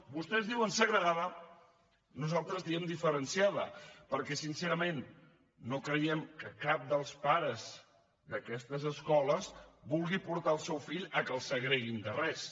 vostès diuen segregada nosaltres diem diferenciada perquè sincerament no creiem que cap dels pares d’aquestes escoles vulguin portar el seu fill perquè el segreguin de res